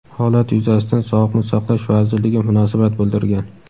Holat yuzasidan Sog‘liqni saqlash vazirligi munosabat bildirgan.